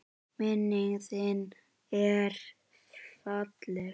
Minning þin er falleg.